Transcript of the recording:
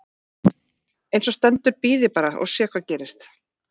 Eins og stendur bíð ég bara og sé hvað gerist.